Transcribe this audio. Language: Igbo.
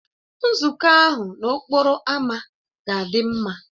Nzukọ ahụ n'okporo ámá ga-adị mma